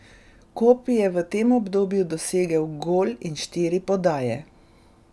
Kopi je v tem obdobju dosegel gol in štiri podaje.